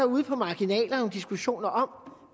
ude på marginalerne diskussioner om